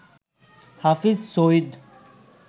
হাফিজ সঈদ